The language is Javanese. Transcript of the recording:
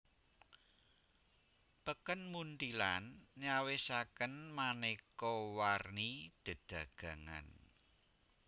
Peken Munthilan nyawisaken manéka warni dedagangan